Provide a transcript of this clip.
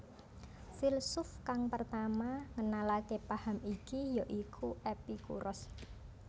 Filsuf kang pertama ngenalake paham iki ya iku Epikuros